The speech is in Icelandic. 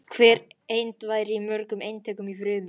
Hver eind væri í mörgum eintökum í frumu.